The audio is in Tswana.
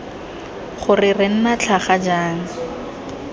gore re nna tlhaga jang